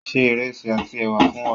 Ṣé ìrẹsí àti è̩wà fún wà!